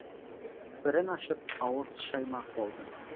бірін ашып ауыз шаймақ болдым